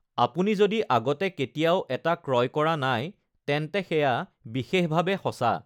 আপুনি যদি আগতে কেতিয়াও এটা ক্ৰয় কৰা নাই তেন্তে সেয়া বিশেষভাৱে সঁচা৷